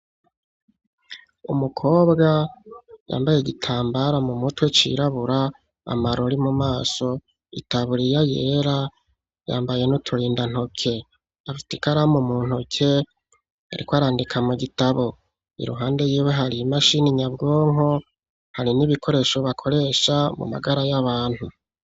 Umukobwa yambaye igitambara mu mutwe cirabura, amarori mu maso itaburiya yera, yambaye n'uturindantoke afise ikaramu mu ntoke arikwarandika mu gitabo. Iruhande y'iwe hariyo imashini nyabwonko hari n'ibikoresho bakoresha mu magara y'abantu.